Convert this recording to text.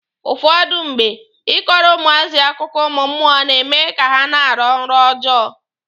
Ụfọdụ mgbe, Ị kọrọ ụmụazị akụkọ ụmụ mmụọ na-eme ka ha na-arọ nrọ ọjọọ.